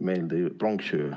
meelde pronksiöö.